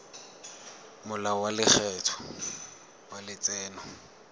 molao wa lekgetho wa letseno